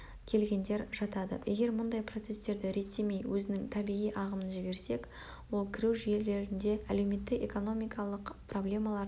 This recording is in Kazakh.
келгендер жатады егер мұндай процестерді реттемей өзінің табиғи ағымын жіберсек ол кіру жерлерінде әлеуметтік-экономикалық проблемаларды